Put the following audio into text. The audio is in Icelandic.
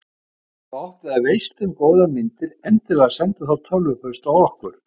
Ef að þú átt eða veist um góðar myndir endilega sendu þá tölvupóst á okkur.